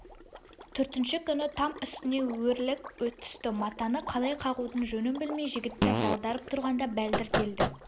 төртінші күні там үстіне өрлік түсті матаны қалай қағудың жөнін білмей жігіттер дағдарып тұрғанда бәлдір келді